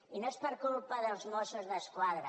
i no és per culpa dels mossos d’esquadra